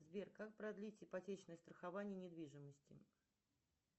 сбер как продлить ипотечное страхование недвижимости